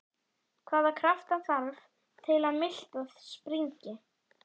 Hvaða krafta þarf til að miltað springi?